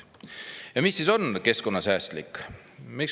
Aga mis on keskkonnasäästlik?